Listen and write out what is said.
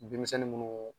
Bin misɛnnin minnu